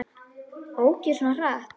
Ók ég svona hratt?